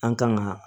An kan ka